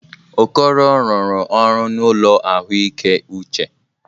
Okoro rụrụ ọrụ n'ụlọ ahụike uche.